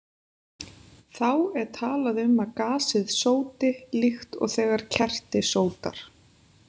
Þá er talað um að gasið sóti, líkt og þegar kerti sótar.